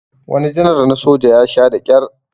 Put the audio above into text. wani janar na soja ya Sha da kyar